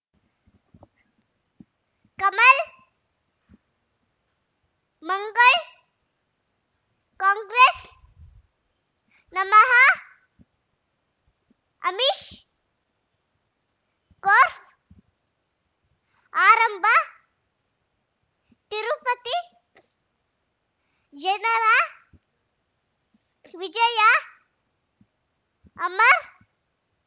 ಕಮಲ್ ಮಂಗಳ್ ಕಾಂಗ್ರೆಸ್ ನಮಃ ಅಮಿಷ್ ಕೋರ್ಟ್ ಆರಂಭ ತಿರುಪತಿ ಜನರ ವಿಜಯ ಅಮರ್